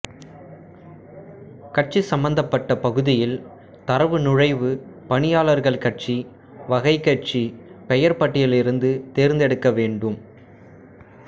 கட்சி சம்பந்தப்பட்ட பகுதியில் தரவு நுழைவு பணியாளர்கள் கட்சி வகை கட்சி பெயர் பட்டியலிலிருந்து தேர்ந்தெடுக்க வேண்டும்